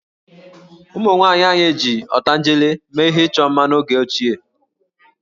Ụmụnwaanyị anyị ji ọtanjele mee ihe ịchọ mma n'oge ochie